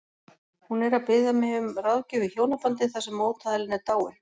Hún er að biðja mig um ráðgjöf í hjónabandi þar sem mótaðilinn er dáinn.